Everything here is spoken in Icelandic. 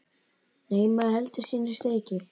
Nei, maður heldur sínu striki.